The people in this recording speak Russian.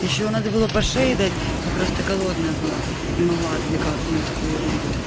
ещё надо было по шее дать я просто голодная была не могла отвлекаться на такую ерунду